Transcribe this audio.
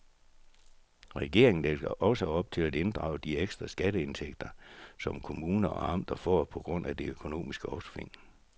Regeringen lægger også op til at inddrage de ekstra skatteindtægter, som kommuner og amter får på grund af det økonomiske opsving.